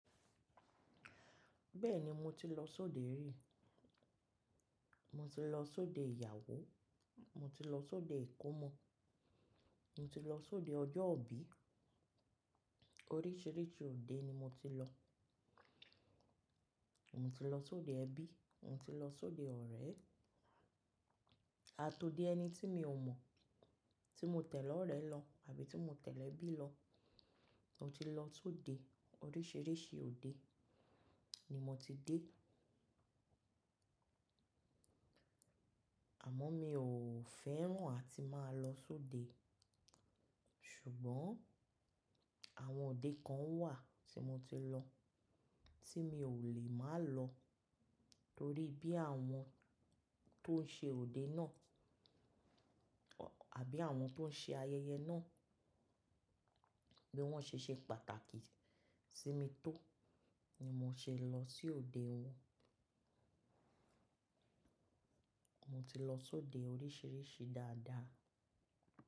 Bẹ́ẹ̀ni mo ti lọ sóde rí. Mo ti lọ sóde ìyàwó, mo ti lọ sóde ìkómọ, mo ti lọ sóde ọjọ́ ìbí. Oríṣìíríṣìí òde ni mo ti lọ. Mo ti lọ sóde ẹbí, mo ti lọ sóde ọ̀rẹ́, àtòde ẹni tí mi ò mọ̀, tí mo tẹ̀lẹ́ ọ̀rẹ́ lọ àbí tí mo tẹ̀lẹ́ ẹbí lọ. Mo ti lọ sóde, oríṣìíríṣìí òde ni mo ti dé. Àmọ́ mi ò fẹ́ràn àti máa lọ sóde. Ṣùgbọ́n àwọn òde kan wà tí mo ti lọ, tí mi ò lè máa lọ torí bí àwọn tó ń ṣe òde náà àbí àwọn tó ń ṣe ayẹyẹ náà bí wọ́n ṣe ṣe pàtàkì sí mi tó ni mo ṣe lọ sí òde wọn. Mo ti lọ sóde oríṣìíríṣìí dáadáa.